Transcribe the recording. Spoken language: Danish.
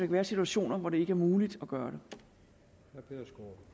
være situationer hvor det ikke er muligt at gøre det